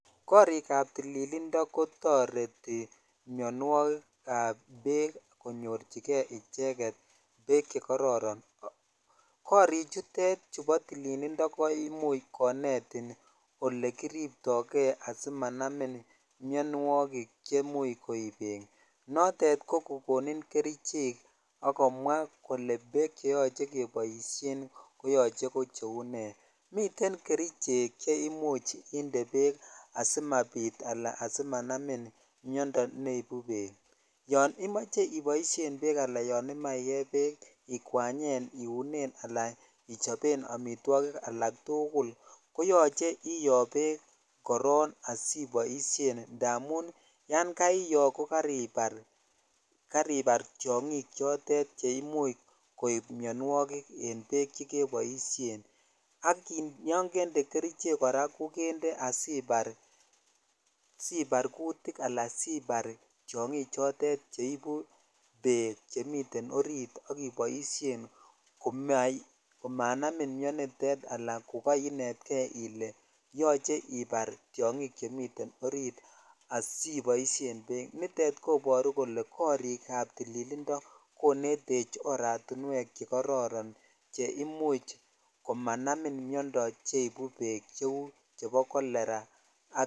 Korik ab tililindo ko toreti mionwogikab berk konyorchikei icheget beek che kororon korichutet chubo tolilindo ko imuch ko eating olekiripoi kei simsnaminik mianwogik che imuch koib beek chotet ko kokonin kerichek ak komwa kole beek cheyoche keboishen ko yoche ko cheu nee miten kerichek che imuch inde beek asimabit ala asimanamin miond